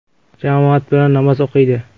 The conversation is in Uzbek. Jamoat bilan namoz o‘qiydi.